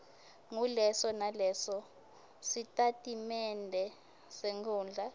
nguleso nalesositatimende senkhundla